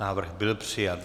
Návrh byl přijat.